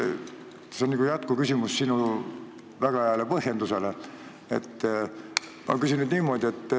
See on nagu jätkuküsimus sinu väga hea põhjenduse kohta.